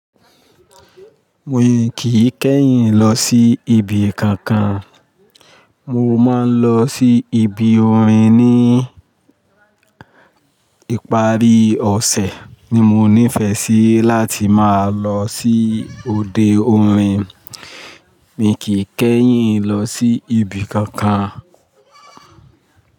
Mi kì í kẹ́yìn lọ sí ibi kankan. Mo máa ń lọ sí ibi orin ní ìparí ọ̀sẹ̀ ni mo nífẹ̀ẹ́ sí láti máa lọ sí òde orin. Mi kì í kẹ́yìn lọ sí ibi kankan.